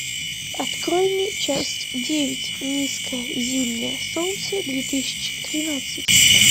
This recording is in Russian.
открой мне часть девять низкое зимнее солнце две тысячи тринадцать